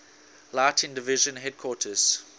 lighting division headquarters